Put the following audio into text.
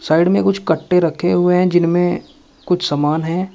Side में कुछ कट्टे रखे हुए हैं जिनमें कुछ सामान है।